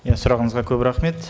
иә сұрағыңызға көп рахмет